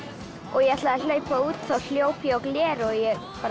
og ég ætlaði að hlaupa út þá hljóp ég á gler og ég bara